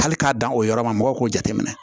Hali k'a dan o yɔrɔ ma mɔgɔw k'o jate minɛ